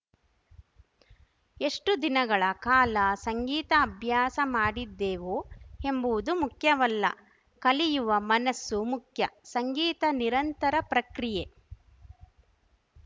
ಎಷ್ಟುದಿನಗಳ ಕಾಲ ಸಂಗೀತ ಅಭ್ಯಾಸ ಮಾಡಿದ್ದೆವು ಎನ್ನುವುದು ಮುಖ್ಯವಲ್ಲ ಕಲಿಯುವ ಮನಸ್ಸು ಮುಖ್ಯ ಸಂಗೀತ ನಿರಂತರ ಪ್ರಕ್ರಿಯೆ